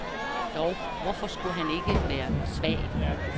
Dog, hvorfor skulle han ikke være svag.